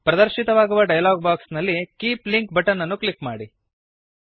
ಪ್ರದರ್ಶಿತವಾಗುವ dialog box ನಲ್ಲಿ keep link button ಅನ್ನು click ಮಾಡಿ